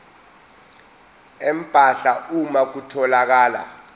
empahla uma kutholakala